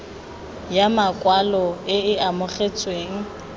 ya makwalo e e amogetsweng